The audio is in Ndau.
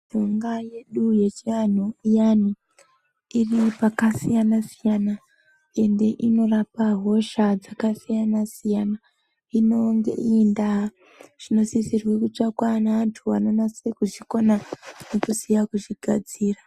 Mushonga yedu yechi anhu iyani iri paka siyana siyana ende inorapa hosha dzaka siyana siyana inonge iri nda zvino sisirwe kutsvakwa ne antu ano nase ku zikanwa nekuziya kuzvi gadzira.